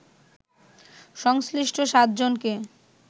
সংশ্লিষ্ট সাত জনকে